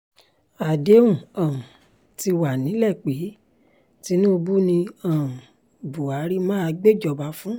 àdéhùn um ti wà nílẹ̀ pé tinubu ni um buhari máa gbéjọba fún